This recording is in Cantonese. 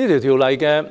《條例草案》有三大